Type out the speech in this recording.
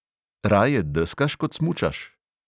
Raje deskaš kot smučaš?